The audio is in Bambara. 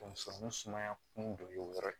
Donso ni sumaya kun don o yɔrɔ ye